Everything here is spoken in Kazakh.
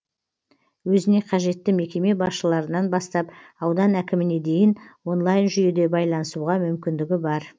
өзіне қажетті мекеме басшыларынан бастап аудан әкіміне дейін онлайн жүйеде байланысуға мүмкіндігі бар